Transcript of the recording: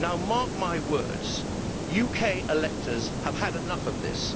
Mark my words UK electors have had enough of this.